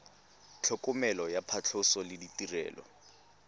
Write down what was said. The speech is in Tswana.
tlhokomelo ya phatlhoso le ditirelo